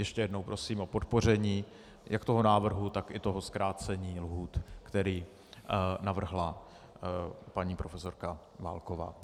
Ještě jednou prosím o podpoření jak toho návrhu, tak i toho zkrácení lhůt, které navrhla paní profesorka Válková.